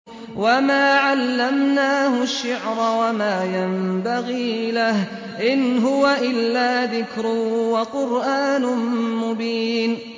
وَمَا عَلَّمْنَاهُ الشِّعْرَ وَمَا يَنبَغِي لَهُ ۚ إِنْ هُوَ إِلَّا ذِكْرٌ وَقُرْآنٌ مُّبِينٌ